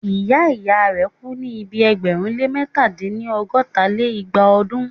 ìyá ìyá rẹ̀ kú ní ibi ẹgbẹ̀rún lé mẹ̀ta dín-ní- ọgọ́ta lé igba ọdún.